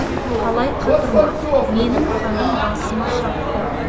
қалай қатырма менің қаным басыма шапты